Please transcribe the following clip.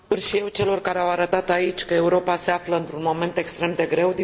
Mulțumesc și eu celor care au arătat aici că Europa se află într un moment extrem de greu.